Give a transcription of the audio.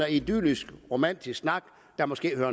idyllisk romantisk snak der måske hører